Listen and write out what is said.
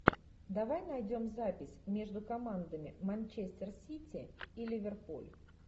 давай найдем запись между командами манчестер сити и ливерпуль